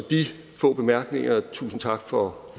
få bemærkninger tusind tak for